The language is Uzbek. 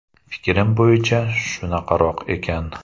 Fikrim bo‘yicha shunaqaroq ekan.